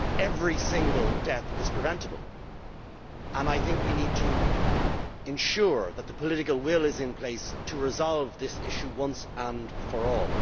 Every single death is preventable, and I think we need to ensure that the political will is in place to resolve this issue once and for all.